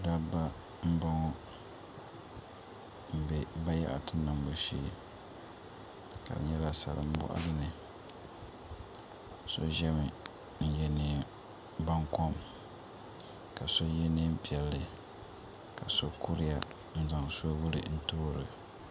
Dabba n boŋo n bɛ bayaɣati niŋbu shee di nyɛla salin boɣali ni so ʒɛmi n yɛ neen baŋkom ka so yɛ neen piɛlli ka so kuriya n zaŋ soobuli n toorili